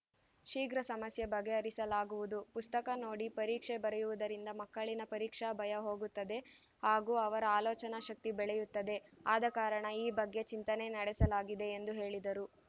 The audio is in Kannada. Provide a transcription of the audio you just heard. ಶೀಘ್ರ ಸಮಸ್ಯೆ ಬಗೆಹರಿಸಲಾಗುವುದು ಪುಸ್ತಕ ನೋಡಿ ಪರೀಕ್ಷೆ ಬರೆಯುವುದರಿಂದ ಮಕ್ಕಳಿನ ಪರೀಕ್ಷಾ ಭಯ ಹೋಗುತ್ತದೆ ಹಾಗೂ ಅವರ ಆಲೋಚನಾ ಶಕ್ತಿ ಬೆಳೆಯುತ್ತದೆ ಆದಕಾರಣ ಈ ಬಗ್ಗೆ ಚಿಂತನೆ ನಡೆಸಲಾಗಿದೆ ಎಂದು ಹೇಳಿದರು